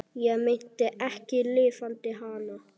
Ég meinti ekki LIFANDI HANA.